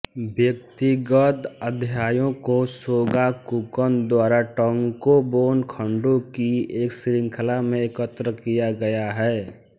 व्यक्तिगत अध्यायों को शोगाकुकन द्वारा टंकोबोन खण्डों की एक श्रृंखला में एकत्र किया गया है